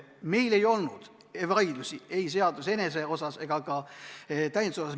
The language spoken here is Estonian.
Meil ei olnud vaidlusi ei seaduseelnõu enese osas ega ka täienduse osas.